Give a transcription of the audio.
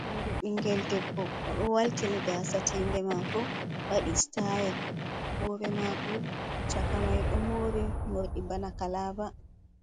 Hoore ɓingel debbo, o ɗo waltini gaasa tiiɗe maako waɗi sitayel hoore maako, shaka mai ɗo moori morɗi bana kalaba,